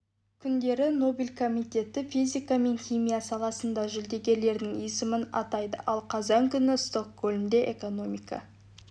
күндері нобель комитеті физика мен химия саласындағы жүлдегерлердің есімін атайды ал қазан күні стокгольмде экономика